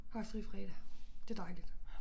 Har jeg fri fredag. Det dejligt